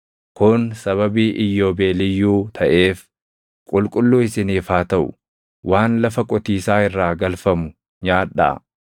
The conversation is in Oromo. Kun sababii iyyoobeeliyyuu taʼeef qulqulluu isiniif haa taʼu; waan lafa qotiisaa irraa galfamu nyaadhaa.